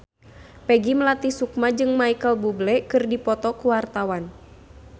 Peggy Melati Sukma jeung Micheal Bubble keur dipoto ku wartawan